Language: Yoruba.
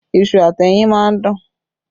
Iṣu àti ẹyin máa ń dùn